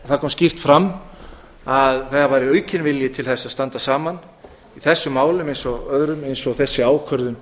það kom skýrt fram að þegar væri aukinn vilji til þess að standa saman í þessum málum eins og þessi ákvörðun